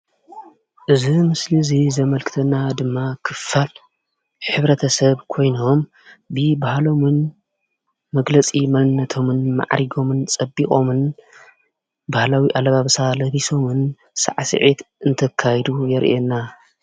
እዚ ምስሊ እዚ ዘመልክተና ድማ ክፋል ሕብረተሰብ ኮይኖም ብባህሎምን መግለፂ መንነቶምን ማዕሪጎምን ፀቢቆምን ባህላዊ ኣለባብሳ ለቢሶምን ሳዕስዒት ኣንተካይዱ የርእየና ።